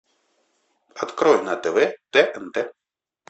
открой на тв тнт